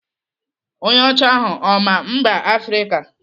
Onye ọcha ahụ ọ maa mba Afrịka?